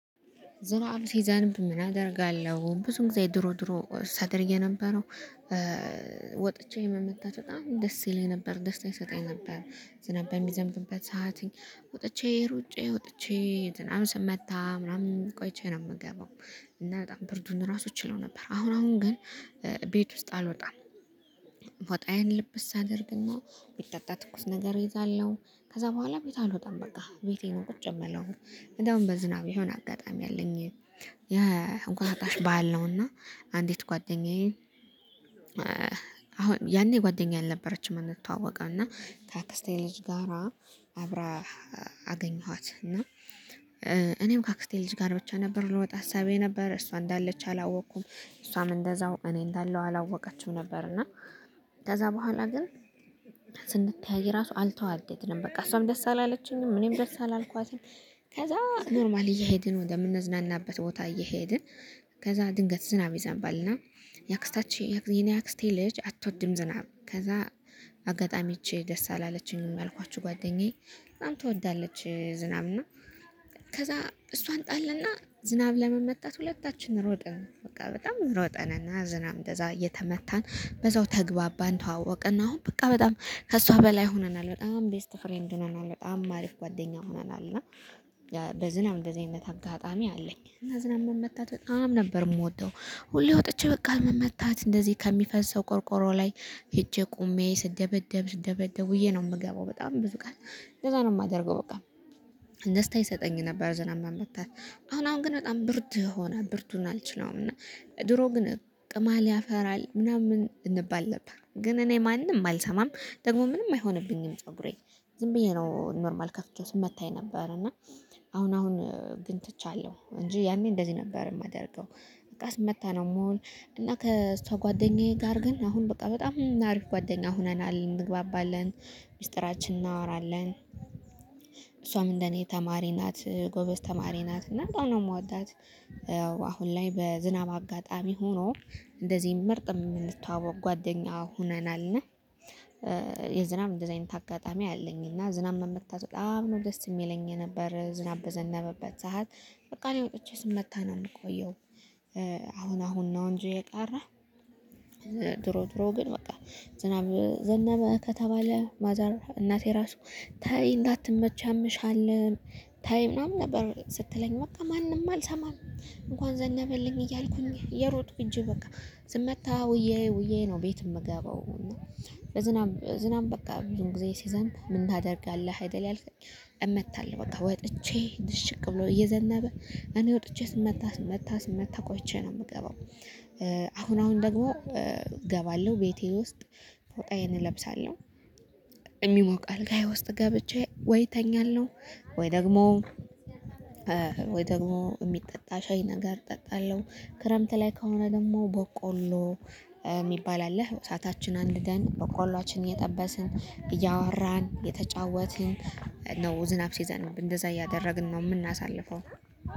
ዞሮ አሉ ሲዛንም ምን አደርጋለሁ ብዙ ጊዜ ድሮ ድሮ ሳደርግ የነበረው ወጥቼ መመታት በጣም ደስ ይለኝ ነበር ደስታ ይሰጠኝ ነበር። ዝናብ በሚዘንብበት ሰዓት ወጥቼ ሩጬ ወጥቼ ዝናብ ስመታ ምናምን ቆይቼ ነው የምገባው። እና በጣም ብርዱን ራሱ እችለው ነበር አሁን አሁን ግን ቤት ውስጥ አልወጣም። ፎጣዬን ልብስ ኣደርግና የሚጠጣ ትኩስ ነገር እይዛለሁ። ከዛ በኋላ ቤት አልወጣም በቃ ቤቴን ነው ቁጭ የምለው። እንደውም በዝናብ የሆነ አጋጣሚ አለኝ የእቁጣጣሽ በዓል ነውና ኣንዲት ጓደኛዬ። አሁን ያኔ ጓደኛ አልነበረችም እንተዋወቀው እና ከኣክስቴ ልጅ ጋራ አብራ አገኘኋት። እና እኔም ካክስቴ ልጅ ጋር ብቻ ነበር ልወጣ ሀሳቤ ነበረ እሷ እንዳለች አላወቅኩም እሷም እንደዛው እኔ እንዳለው አላወቀችም ነበር እና። ከዛ በኋላ ግን ስንተያይ ራሱ አልተዋደድንም በቃ እሷም ደስ አላለችኝም እኔም ደስ አላልኳትም። ከዛ ኖርማል እየሄድን ወደምንዝናናበት ቦታ እየሄድን ከዛ ድንገት ዝናብ ይዘንባልና። የአክስታችን የኔ የአክስቴ ልጅ አትወድም ዝናብ ከዛ አጋጣሚ እቺ ደስ አላለችኝም ያልኳችሁ ጓደኛዬ ምናምን ትወዳለች ዝናብ ነው። ከዛ እሷን ጣልና ዝናብ ለመመታት ሁለታችንም ሮጥን በቃ በጣም ሮጥንና ዝናብ እንደዛ እየተመታን በዛው ተግባባን ተዋወቅንና አሁን በቃ በጣም ከእሷ በላይ ሆነናል በጣም ቤስት ፍሬንድ ሆነናል በጣም አሪፍ ጓደኛ ሆነናል። እና በዝናብ እንደዚህ አይነት አጋጣሚ አለኝ ዝናብ መመታት በጣም ነበር የምወደው። ሁሌ ወጥቼ በቃ መታት እንደዚህ ከሚፈሰው ቆርቆሮ ላይ ሄጄ ቆሜ ስደበደብ ስደበደብ ውዬ ነው የምገባው በጣም ብዙ ቀን እንደዛ ነው የማደርገው በቃ ደስታ ይሰጠኝ ነበር ዝናብ መመታት። ኣሁን ኣሁን ግን በጣም ብርድ ሆነ ብርዱን ኣልችለውም እና ድሮ ግን ቅማል ያፈራል ምናምን እንባል ነበር ግን እኔ ማንም አልሰማም። ደግሞ ምንም አይሆንብኝም ፀጉሬ ዝም ብዬ ነው ኖርማል ከፍቼ ሲታኝ የነበር እና። ኣሁን ኣሁን ግን ትቻለሁ እንጂ ያኔ እንደዚህ ነበር የማደርገው። በቃ ስመታ ነው የምሆን። እና ከእሷ ጓደኛዬ ጋር ግን ኣሁን በቃ በጣም አሪፍ ጓደኛ ሆነናል እንግባባለን ሚስጥራችን እናወራለን። እሷም እንደኔ ተማሪ ናት ጎበዝ ተማሪ ናት እና በጣም ነው የምወዳት። አሁን ላይ በዝናብ አጋጣሚ ሆኖ እንደዚህ ምርጥ የምንተዋወቅ ጓደኛ ሆነናል። እና የዝናብ እንደዚህ ኣይነት ኣጋጣሚ ኣለኝ እና ዝናብ መመታት በጣም ነው ደስ የሚለኝ የነበረ ዝናብ በዘነበበት ሰዓት በቃ እኔ ወጥቼ ስመታ ነው የምቆየው። ኣሁን ኣሁን ነው እንጂ የቀረ ድሮ ድሮ ግን በቃ ዝናብ ዝናብ ከተባለ ማዘር እናቴ ራሱ ተይ እንዳትመቺ ያምሻል። ተይ ምናምን ነበር ስትለኝ በቃ ማንም ኣልሰማም እንኳን ዘነበልኝ እያልኩኝ እየሮጥኩ እንጂ በቃ ስመታ ውዬ ውዬ ነው ቤት የምገባው። በዝናብ ዝናብ በቃ ብዙን ጊዜ ስዘንብ ምን ታደርጋለህ አይደል ያልከኝ? እመታለሁ በቃ ወጥቼ ድሽቅ ብሎ እየዘነበ እኔ ወጥቼ ስመታ ስመታ ስመታ ቆይቼ ነው የምገባው። ኣሁን ኣሁን ደግሞ እገባለሁ ቤቴ ውስጥ ፈጣዬን እለብሳለሁ። የሚሞቅ ኣልጋየ ውስጥ ገብቼ ወይ እተኛለሁ። ወይ ደግሞ ወይ ደግሞ የሚጠጣ ሻይ ነገር እጠጣለሁ። ክረምት ላይ ከሆነ ደግሞ ቦቆሎ የሚባል አለ እሳታችን ኣንድርገን ቦቆላችን እየጠበስን እያወራን እየተጫወትን ነው ዝናብ ሲዘንብ እንደዛ እያደረግን ነው የምናሳልፈው